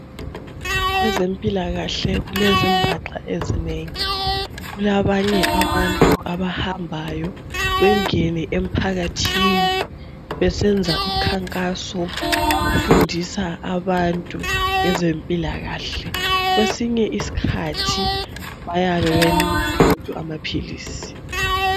Kwezempilakale kulezimbaxa ezinengi kulabanye abahamba bengena emphakathini befundisa abantu ngezempilakahle kwesinye isikhathi bayabe besipha abantu amaphilisi